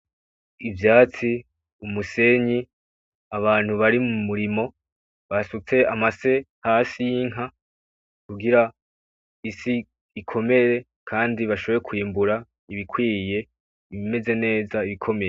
Ivyatsi, umusenyi, abantu bari mumurimo basutse hasi amase y'inka kugira isi ikomere kandi bashobore kwimbura ibikwiye bimeze neza bikomeye.